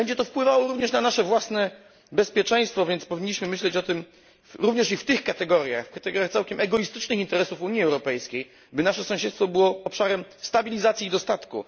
Będzie to wpływało również na nasze własne bezpieczeństwo, więc powinniśmy myśleć o tym również i w tych kategoriach kategoriach całkiem egoistycznych interesów Unii Europejskiej, by nasze sąsiedztwo było obszarem stabilizacji i dostatku.